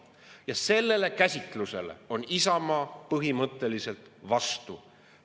Ja sellele käsitlusele on Isamaa põhimõtteliselt vastu.